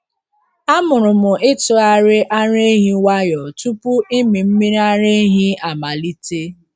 Amụrụ m ịtụgharị ara ehi nwayọọ tupu ịmị mmiri ara ehi amalite.